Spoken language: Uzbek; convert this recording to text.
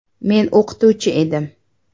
“Men o‘qituvchi edim.